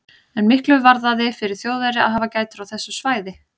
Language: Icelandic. En miklu varðaði fyrir Þjóðverja að hafa gætur á þessu svæði.